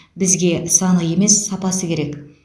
бізге саны емес сапасы керек